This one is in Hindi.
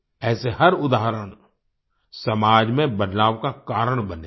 ऐसे हर उदाहरण समाज में बदलाव का कारण बने हैं